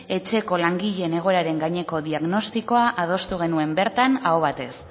etxeko langileen egoeraren gaineko diagnostikoa adostu genuen bertan aho batez